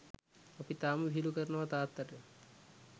අපි තාම විහිළු කරනව තාත්තට.